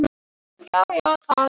Hvað fannst Dagný um atvikið?